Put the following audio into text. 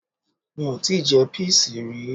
Mi ò tíì je píìsì rí